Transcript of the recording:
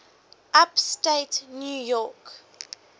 upstate new york